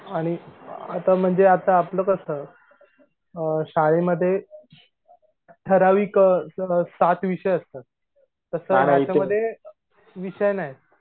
आणि आता म्हणजे आता आपलं कस अ शाळेमध्ये ठराविक स सात विषय असतात तस ह्यांच्यामध्ये विषय नाहीयेत